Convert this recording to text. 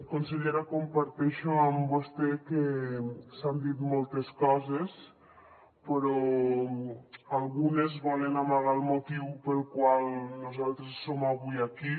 consellera comparteixo amb vostè que s’han dit moltes coses però algunes volen amagar el motiu pel qual nosaltres som avui aquí